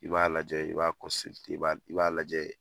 I b'a lajɛ i b'a i b'a d i b'a lajɛ